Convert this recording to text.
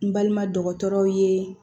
N balima dɔgɔtɔrɔw ye